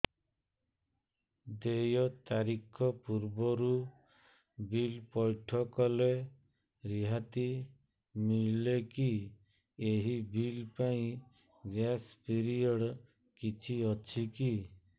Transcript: ଦେୟ ତାରିଖ ପୂର୍ବରୁ ବିଲ୍ ପୈଠ କଲେ ରିହାତି ମିଲେକି ଏହି ବିଲ୍ ପାଇଁ ଗ୍ରେସ୍ ପିରିୟଡ଼ କିଛି ଅଛିକି